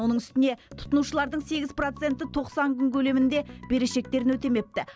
оның үстіне тұтынушылардың сегіз проценті тоқсан күн көлемінде берешектерін өтемепті